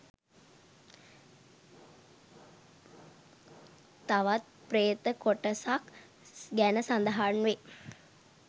තවත් ප්‍රේත කොටසක් ගැන සඳහන් වේ.